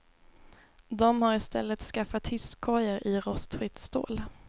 De har i stället skaffat hisskorgar i rostfritt stål.